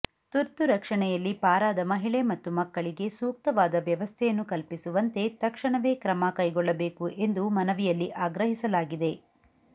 ತುರ್ತು ರಕ್ಷಣೆಯಲ್ಲಿ ಪಾರಾದ ಮಹಿಳೆ ಮತ್ತು ಮಕ್ಕಳಿಗೆ ಸೂಕ್ತವಾದ ವ್ಯವಸ್ಥೆಯನ್ನು ಕಲ್ಪಿಸುವಂತೆ ತಕ್ಷಣವೇ ಕ್ರಮ ಕೈಗೊಳ್ಳಬೇಕು ಎಂದು ಮನವಿಯಲ್ಲಿ ಆಗ್ರಹಿಸಲಾಗಿದೆ